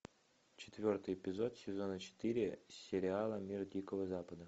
четвертый эпизод сезона четыре сериала мир дикого запада